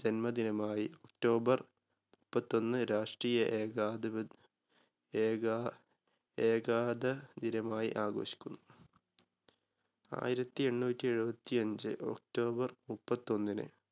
ജന്മദിനമായി october മുപ്പത്തൊന്ന് രാഷ്ട്രീയ ഏകാധിപ ഏകാ ഏകാത ദിനമായി ആഘോഷിക്കുന്നു. ആയിരത്തി എണ്ണൂറ്റി എഴുപത്തിയഞ്ച് october മുപ്പത്തൊന്നിന്